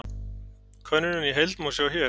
Könnunina í heild má sjá hér